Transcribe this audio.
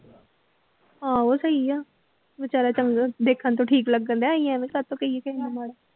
ਆਹੋ ਸਹੀ ਆ ਬੇਚਾਰਾ ਚੰਗਾ ਦੇਖਣ ਤੋਂ ਠੀਕ ਲੱਗਣ ਡਿਆ ਅਸੀਂ ਐਵੇਂ ਕਾਹਤੋਂ ਕਹੀਏ ਕਿਸੇ ਨੂੰ ਮਾੜਾ।